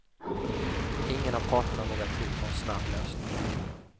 Ingen av parterna vågar tro på en snabb lösning.